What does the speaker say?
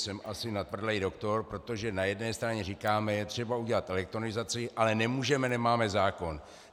Jsem asi natvrdlý doktor, protože na jedné straně říkáme "je třeba udělat elektronizaci, ale nemůžeme, nemáme zákon".